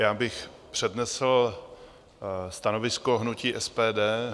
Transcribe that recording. Rád bych přednesl stanovisko hnutí SPD.